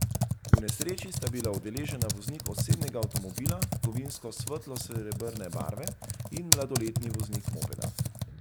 V nesreči sta bila udeležena voznik osebnega avtomobila kovinsko svetlo srebrne barve in mladoletni voznik mopeda.